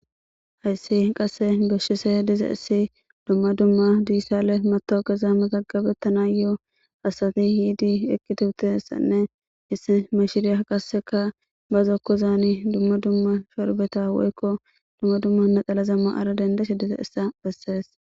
Hayssi qasse goshshise diza issi dumma dumma diissale matookeza magagabettana yoo hasati hiidi ekkituutessanne issi mashiriya qaseka bazokkozaani dumma dumma shorbeta woykko dumma dumma naxalazamma ara dandese diza issa bessees.